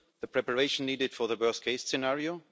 Preparation is needed for the worst case scenario.